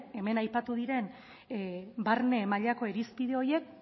hemen aipatu diren barne mailako irizpide horiek